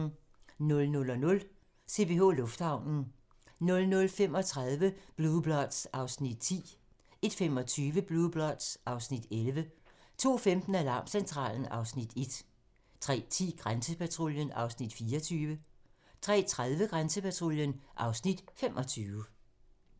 00:00: CPH Lufthavnen 00:35: Blue Bloods (Afs. 10) 01:25: Blue Bloods (Afs. 11) 02:15: Alarmcentralen (Afs. 1) 03:10: Grænsepatruljen (Afs. 24) 03:30: Grænsepatruljen (Afs. 25)